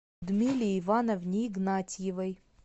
людмиле ивановне игнатьевой